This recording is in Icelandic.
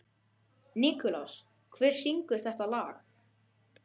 Nikulás, hver syngur þetta lag?